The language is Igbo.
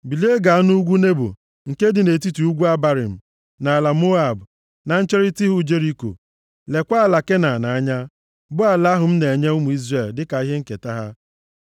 “Bilie ga nʼugwu Nebo nke dị nʼetiti ugwu Abarim, nʼala Moab, na ncherita ihu Jeriko, leekwa ala Kenan anya, bụ ala ahụ m na-enye ụmụ Izrel dịka ihe nketa ha.